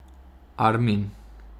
Armin.